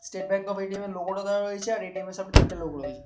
State Bank of ATM. -এর logo -টা দেওয়া রয়েছে আর এ.টি.এম. -এর সামনে তিনটে লোক রয়েছে।